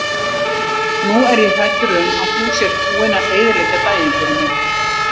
Nú er ég hræddur um að þú sért búinn að eyðileggja daginn fyrir mér.